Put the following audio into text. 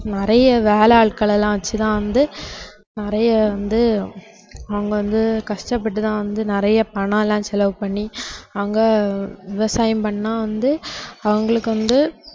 நிறைய வேலை ஆட்களை எல்லாம் வச்சு தான் வந்து நிறைய வந்து அவங்க வந்து கஷ்டப்பட்டு தான் வந்து நிறைய பணம் எல்லாம் செலவு பண்ணி அவங்க விவசாயம் பண்ணா வந்து அவங்களுக்கு வந்து